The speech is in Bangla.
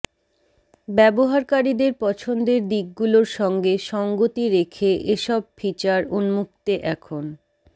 ব্যবহারকারীদের পছন্দের দিকগুলোর সঙ্গে সঙ্গতি রেখে এসব ফিচার উন্মুক্তে এখন